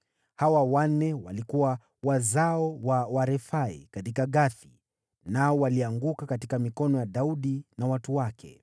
Hawa wanne walikuwa wazao wa Warefai huko Gathi, nao walianguka kwa mikono ya Daudi na watu wake.